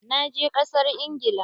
Na je kasar Ingila.